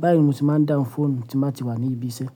Báyìí ni mo se máa ń dáhùn fóònù tí n baá ti wà ní ibi iṣẹ́.